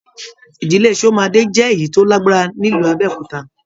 Ìdílé Shomade jẹ èyí tó lágbára nílu Abẹ́òkúta.